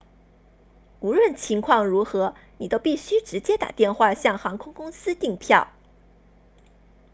无论情况如何你都必须直接打电话向航空公司订票